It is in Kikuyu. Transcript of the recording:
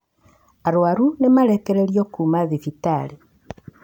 arũaru ni marekererio kuuma thibitarĩ